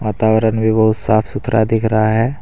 वातावरण भी बहुत साफ सुथरा दिख रहा है।